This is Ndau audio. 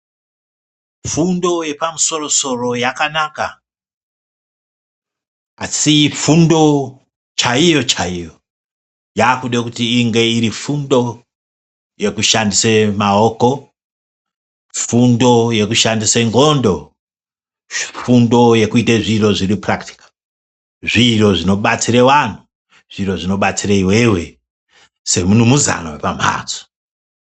Fundo yepamusoro soro yakanaka asi fundo chaiyo chaiyo yakude kuti inge iri fundo yekushandise maoko, fundo yekushanise nxondo, fundo yekute zviro zviro purakitikali, zviro zvinobatsire vanhu, zviro zvinobatsire iwewe semunumuzana wepamhatso.